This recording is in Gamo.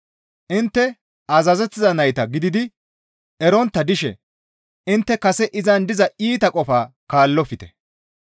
Intte azazettiza nayta gididi erontta dishe intte kase izan diza iita qofaa kaallofte.